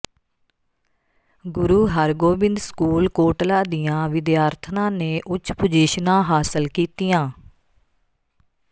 ਗੁਰੂ Hargobind school Kotla ਦੀਆਂ ਵਿਦਿਆਰਥਣਾਂ ਨੇ ਉੱਚ ਪੁਜ਼ੀਸ਼ਨਾਂ ਹਾਸਲ ਕੀਤੀਆਂ